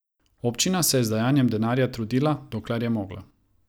Občina se je z dajanjem denarja trudila, dokler je mogla.